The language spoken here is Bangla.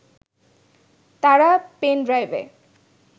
তারা পেন ড্রাইভে